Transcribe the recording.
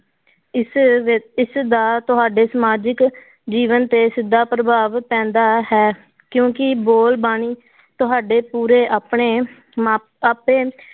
ਇਸ ਵਿ~ ਇਸਦਾ ਤੁਹਾਡੇ ਸਮਾਜਿਕ ਜੀਵਨ ਤੇ ਸਿੱਧਾ ਪ੍ਰਭਾਵ ਪੈਂਦਾ ਹੈ ਕਿਉਂਕਿ ਬੋਲ ਬਾਣੀ ਤੁਹਾਡੇ ਪੂਰੇ ਆਪਣੇ